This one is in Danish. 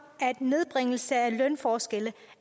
at nedbringelse af lønforskelle